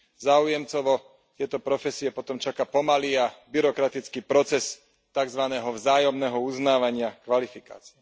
Záujemcov o tieto profesie potom čaká pomalý a byrokratický proces takzvaného vzájomného uznávania kvalifikácií.